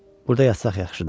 Burda yaşa, yaxşıdır.